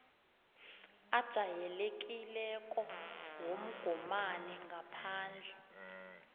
ajayelekileko womgomani ngaphandle